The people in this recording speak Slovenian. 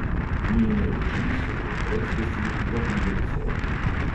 Njene oči so jo brez besed vabile k sebi.